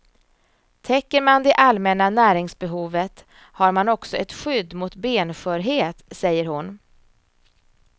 Täcker man det allmänna näringsbehovet har man också ett skydd mot benskörhet, säger hon.